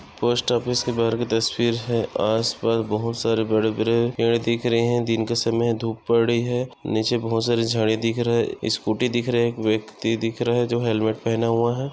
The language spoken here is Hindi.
पोस्ट ऑफिस के बहार की तसवीर है। आसपास बहुत सारे बड़े बड़े पेड़ दिख रहे है। दिन का समय धूप पड़ी है। नीचे बहुत सारी झाड़ी दिख रही है। स्कूटी दिख रहा है। एक व्यक्ति दिख रहा है जो हेलमेट पेहणा हुआ है।